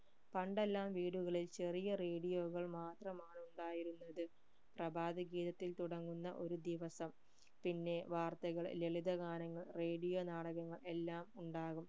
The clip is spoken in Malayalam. പണ്ടെല്ലാം വീടുകളിൽ ചെറിയ radio കൾ മാത്രമാണ് ഉണ്ടായിരുന്നത് പ്രഭാത ഗീതത്തിൽ തുടങ്ങുന്ന ഒരു ദിവസം പിന്നെ വാർത്തകൾ ലളിത ഗാനങ്ങൾ radio നാടകങ്ങൾ എല്ലാം ഉണ്ടാകും